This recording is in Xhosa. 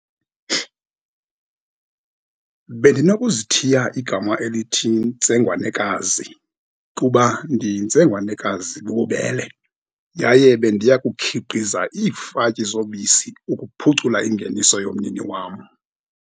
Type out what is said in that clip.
Bendinokuzithiya igama elithi Ntsengwanekazi, kuba ndiyintsengwanekazi bububele, yaye bendiyakukhiqiza iifatyi zobisi ukuphucula ingeniso yomnini wam.